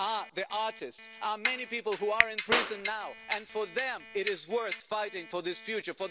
the artists many people who are in prison now, and for them it is worth fighting for this future.